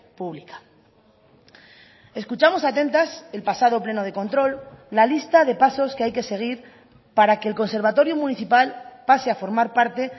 pública escuchamos atentas el pasado pleno de control la lista de pasos que hay que seguir para que el conservatorio municipal pase a formar parte